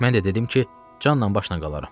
Mən də dedim ki, canla başla qalaram.